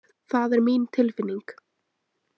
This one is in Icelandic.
Það er mín tilfinning.